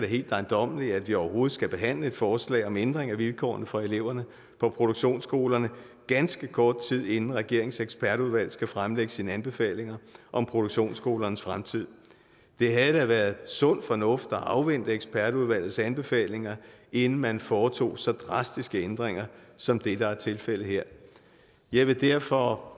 helt ejendommeligt at vi overhovedet skal behandle et forslag om en ændring af vilkårene for eleverne på produktionsskolerne ganske kort tid inden regeringens ekspertudvalg skal fremlægge sine anbefalinger om produktionsskolernes fremtid det havde da været sund fornuft at afvente ekspertudvalgets anbefalinger inden man foretog så drastiske ændringer som det der er tilfældet her jeg vil derfor